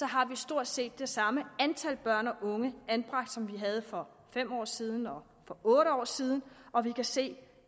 har stort set det samme antal børn og unge anbragt som vi havde for fem år siden og for otte år siden og vi kan se